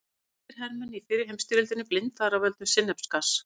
Breskir hermenn í fyrri heimsstyrjöldinni blindaðir af völdum sinnepsgass.